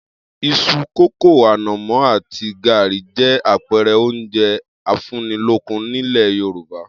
Is̩u, kókò, ànò̩mó̩ àti gàrí jé̩ àpe̩e̩re̩ oúnje̩ afúnnilókùn nílè̩ Yorùbá